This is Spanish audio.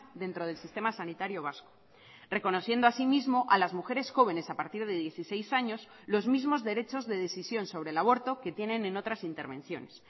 dentro del sistema sanitario vasco reconociendo asimismo a las mujeres jóvenes a partir de dieciséis años los mismos derechos de decisión sobre el aborto que tienen en otras intervenciones